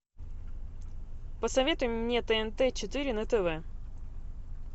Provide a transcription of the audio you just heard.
посоветуй мне тнт четыре на тв